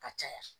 Ka caya